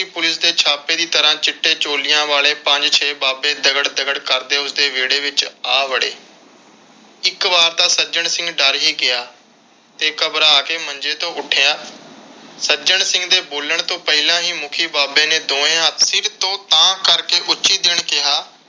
ਇਕ ਵਾਰ ਤਾਂ ਸੱਜਣ ਸਿੰਘ ਡਰ ਹੀ ਗਿਆ ਤੇ ਘਬਰਾ ਕੇ ਮੰਜੇ ਤੋਂ ਉੱਠਿਆ। ਸੱਜਣ ਸਿੰਘ ਦੇ ਬੋਲਣ ਤੋਂ ਪਹਿਲਾਂ ਹੀ ਮੁਖੀ ਬਾਬੇ ਨੇ ਦੋਵੇ ਹੱਥ ਸਿਰ ਤੋਂ ਉਤਾਂਹ ਕਰਕੇ ਉੱਚੀ ਕਿਹਾ